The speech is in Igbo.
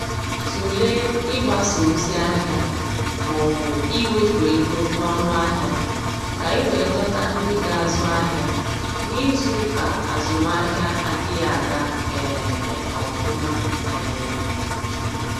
Tụlee ịgbasa ozi ahịa maọbụ iwepụ ego n'ọnụ ahịa, ka i wee dọta ndị ga-azụ ahịa n'izuuka azụmahịa adịghị aga um ofuma. um